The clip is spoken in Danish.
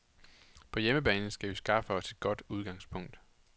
På hjemmebane skal vi skaffe os et godt udgangspunkt.